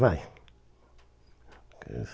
Vai.